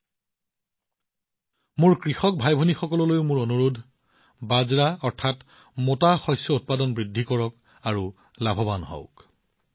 মই মোৰ কৃষক ভাইভনীসকলক অনুৰোধ জনাইছো যে বাজৰা অৰ্থাৎ মোটা খাদ্যশস্য অধিক আৰু ইয়াৰ সুবিধা লাভ কৰক